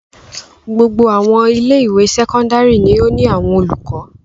Gbogbo àwọn ilé-ìwé sẹ́kọ́ndárì ni ó ní àwọn olùkọ́.